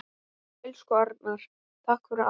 Elsku Arnar, takk fyrir allt.